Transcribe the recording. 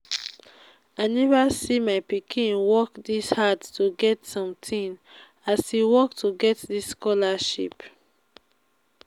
i never see my pikin work dis hard to get something as e work to get dis scholarship